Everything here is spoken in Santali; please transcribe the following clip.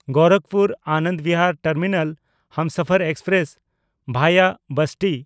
Gorakhpur-Anand Bihar terminal Humsafar express (ᱵᱷᱟᱭᱟ ᱵᱟᱥᱴᱤ)